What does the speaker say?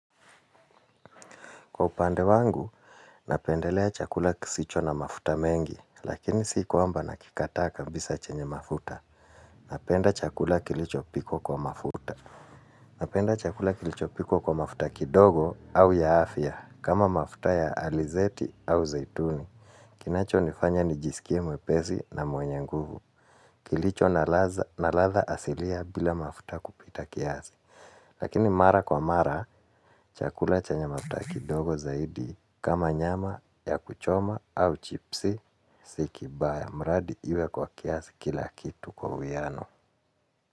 Kwa upande wangu, napendelea chakula kisicho na mafuta mengi, lakini si kwamba nakikataa kabisa chenye mafuta. Napenda chakula kilicho piko kwa mafuta. Napenda chakula kilicho pikwa kwa mafuta kidogo au ya afia, kama mafuta ya alizeti au zaituni. Kinacho nifanya nijisikie mwepezi na mwenye nguvu. Kilicho na latha asilia bila mafuta kupita kiasi. Lakini mara kwa mara, chakula chenye mafuta kidogo zaidi kama nyama ya kuchoma au chipsi si kibaya. Mradi iwe kwa kiasi kila kitu kwa uiyano.